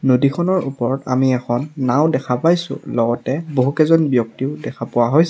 নদীখনৰ ওপৰত আমি এখন নাওঁ দেখা পাইছোঁ লগতে বহুকেইজন ব্যক্তিও দেখা পোৱা হৈছে।